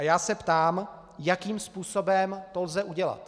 A já se ptám, jakým způsobem to lze udělat.